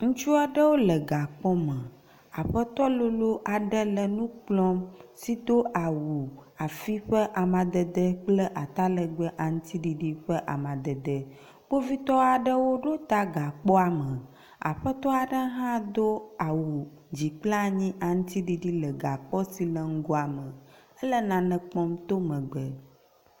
Ŋutsu aɖewo le gakpɔme. Aƒetɔ lolo aɖe le nu kplɔm si do awu afi ƒe amadede kple atalegbe aŋtiɖiɖi ƒe amadede. Kpovitɔ aɖewo ɖo ta gakpɔa me. Aƒetɔ aɖe hã do awu dzi kpla nyi aŋtiɖiɖi le gakpɔ si le ŋgɔa me. Ele nane kpɔm to megbe